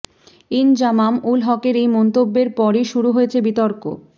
ইনজামাম উল হকের এই মন্তব্যের পরই শুরু হয়েছে বিতর্ক